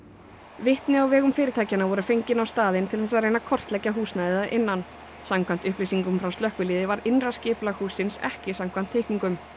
vitni á vegum fyrirtækjanna voru fengin á staðinn til þess að reyna að kortleggja húsnæðið að innan samkvæmt upplýsingum frá slökkviliði var innra skipulag hússins ekki samkvæmt teikningum